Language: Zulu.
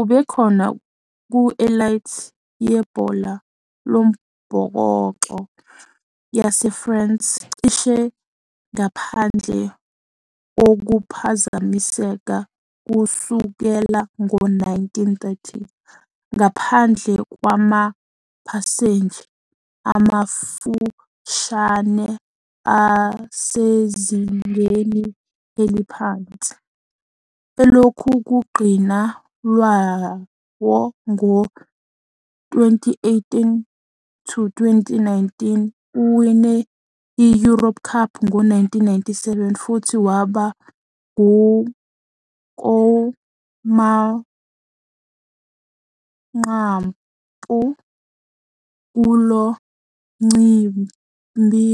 Ubekhona ku-elite yebhola lombhoxo yaseFrance cishe ngaphandle kokuphazamiseka kusukela ngo-1930, ngaphandle kwamaphaseji amafushane asezingeni eliphansi, elokugcina lawo ngo-2018-2019. Uwine i-European Cup ngo-1997 futhi waba kowamanqamu kulo mcimbi